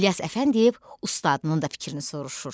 İlyas Əfəndiyev ustadının da fikrini soruşur.